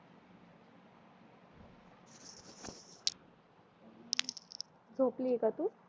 झोपली आहे का तू